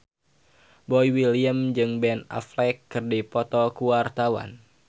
Boy William jeung Ben Affleck keur dipoto ku wartawan